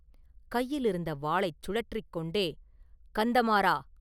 கையிலிருந்த வாளைச் சுழற்றிக் கொண்டே, “கந்தமாறா!